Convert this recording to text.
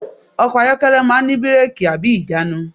Ọkọ̀ ayọ́kẹ́lẹ̀ máà ń ní bírẹ́kì/ìjánu.